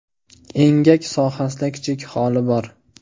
Engak sohasida kichik xoli bor.